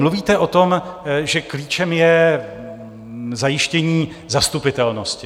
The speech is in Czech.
Mluvíte o tom, že klíčem je zajištění zastupitelnosti.